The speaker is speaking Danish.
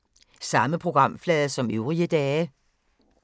Samme programflade som øvrige dage